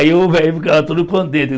Aí o velho ficava todo contente.